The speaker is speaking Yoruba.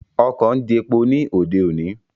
Ọkọ̀ ń jepo ní òde òní